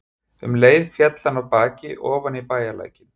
Um leið féll hann af baki ofan í bæjarlækinn.